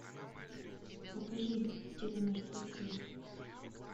покажи телемертвецы